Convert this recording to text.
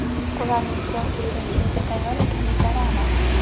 Ularning siyosiy kelishuvga tayyor ekanliklari aniq.